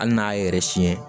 Hali n'a y'a yɛrɛ siɲɛ